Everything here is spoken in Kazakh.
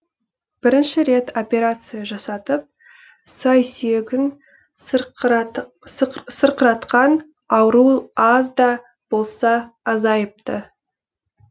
бірінші рет операция жасатып сай сүйегін сырқыратқан ауру аз да болса азайыпты